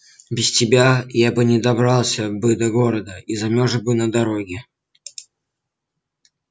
без тебя я бы не добрался бы до города и замёрз бы на дороге